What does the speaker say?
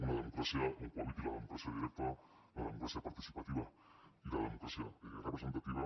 una democràcia on cohabitin la democràcia directa la democràcia participativa i la democràcia representativa